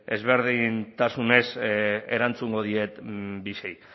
desberdintasunez erantzungo diet